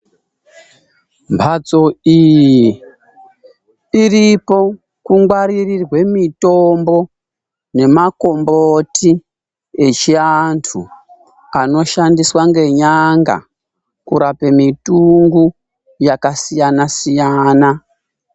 Mhatso iyi iripo kungwaririrwe mitombo nemakomboti echiantu anoshandiswa ngenyanga kurape mitungo yakasiyana siyana.